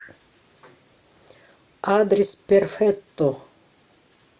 адрес перфетто